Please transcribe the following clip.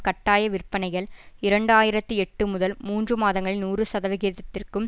கட்டாய விற்பனைகள் இரண்டாயிரத்தி எட்டு முதல் மூன்று மாதங்களில் நூறு சதவிகிதத்திற்கும்